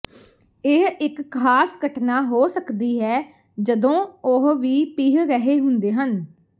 ਇਹ ਇੱਕ ਖਾਸ ਘਟਨਾ ਹੋ ਸਕਦੀ ਹੈ ਜਦੋਂ ਉਹ ਵੀ ਪੀਹ ਰਹੇ ਹੁੰਦੇ ਹਨ